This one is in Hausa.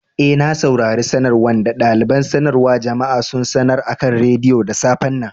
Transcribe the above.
Eh, na saurare sanarwan da dalibain sanarwa jama'a sun sanar akan radiyo da safe'n nan.